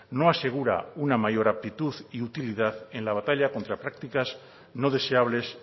no asegura una mayor aptitud y utilidad en la batalla contra prácticas no deseables